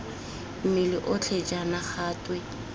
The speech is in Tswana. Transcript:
mmele otlhe jaana ga twe